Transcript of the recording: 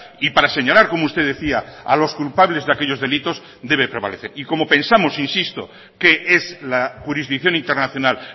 y para señalar como usted decía a los culpables de aquellos delitos debe prevalecer y como pensamos insisto que es la jurisdicción internacional